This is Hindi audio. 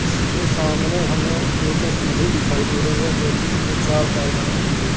इस के सामने हमें एक सीढ़ी दिखाई दे रही है जो की तीन-चार पायदान की है।